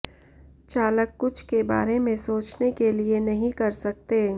चालक कुछ के बारे में सोचने के लिए नहीं कर सकते